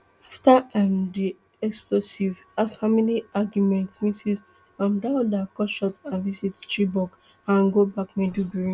afta um di explosive family argument ms um dauda cut short her visit to chibok and go back maiduguri